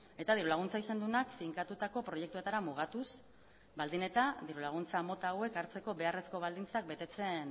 eta diru laguntza izan duenak finkatutako proiektuetara mugatuz baldin eta diru laguntza mota hauek hartzeko beharrezko baldintzak betetzen